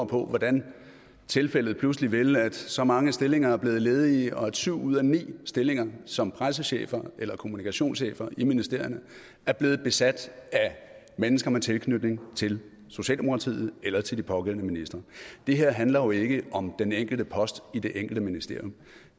på hvordan tilfældet pludselig vil at så mange stillinger er blevet ledige og at syv ud af ni stillinger som pressechef eller kommunikationschef i ministerierne er blevet besat af mennesker med tilknytning til socialdemokratiet eller til de pågældende ministre det her handler jo ikke om den enkelte post i det enkelte ministerium